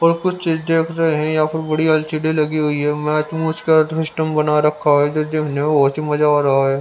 और कुछ चीज देख रहे हैं यहाँ पर बड़ी एलसीडी लगी हुई है मैच मुच् का सिस्टम बना रखा है जो जो बहुत ही मजा आ रहा है.